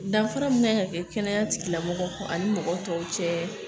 Danfara min kan ka kɛ kɛnɛya tigilamɔgɔw ani mɔgɔ tɔw cɛ